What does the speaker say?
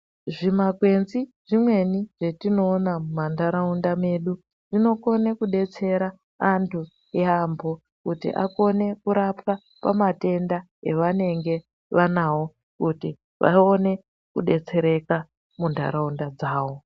Zvimakwenzi zvimweni zvetinoona mumantaraunda medu zvinokone kudetsera antu yaambo, kuti akone kurapwa pamatenda evanenge vanawo, kuti vaone kudetsereka muntaraunda dzavo.